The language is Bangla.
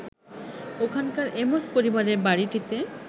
ওখানকার এমোস পরিবারের বাড়িটিতে